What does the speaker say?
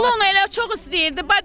Oğlu onu elə çox istəyirdi.